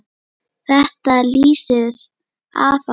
Þetta lýsir afa svo vel.